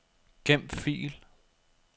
Gem fil.